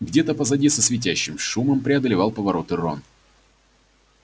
где-то позади со свистящим шумом преодолевал повороты рон